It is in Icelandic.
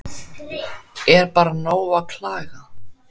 Er bara nóg að klaga?